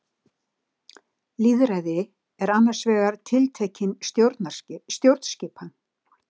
Lýðræði er annars vegar tiltekin stjórnskipan.